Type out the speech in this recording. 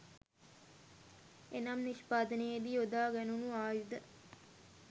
එනම් නිෂ්පාදනයේ දී යොදා ගැණුනු ආයුධ